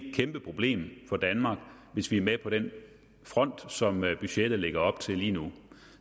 et kæmpe problem for danmark hvis vi er med på den front som budgettet lægger op til lige nu